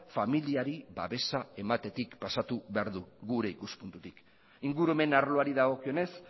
familiari babesa ematetik pasatu behar du gure ikuspuntutik ingurumen arloari dagokionez